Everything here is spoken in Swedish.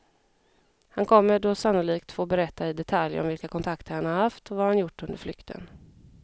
Han kommer då sannolikt få berätta i detalj om vilka kontakter han har haft och vad han har gjort under flykten.